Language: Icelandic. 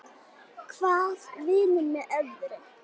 Hvað vinnur með öðru.